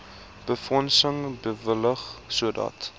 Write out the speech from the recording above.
befondsing bewillig sodat